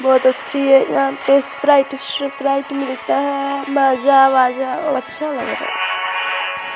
बोहोत अच्छी है स्प्राइट इस स्प्राइट मिलता है माजा -वाजा अच्छा लग रहा है।